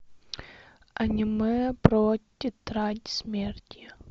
аниме про тетрадь смерти